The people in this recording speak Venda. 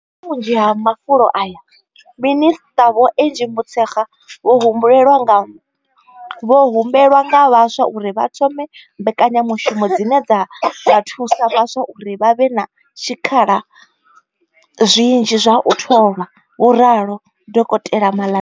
Kha vhunzhi ha mafulo aya, minisṱa vho Angie Motshekga vho humbelwa nga vhaswa uri vha thome mbekanyamushumo dzine dza nga thusa vhaswa uri vha vhe na zwikhala zwinzhi zwa u tholwa, vho ralo dokotela Maḽa.